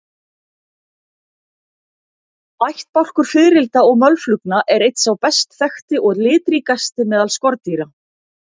Ættbálkur fiðrilda og mölflugna er einn sá best þekkti og litríkasti meðal skordýra.